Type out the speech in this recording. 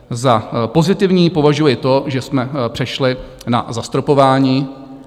Za pozitivní považuji to, že jsme přešli na zastropování.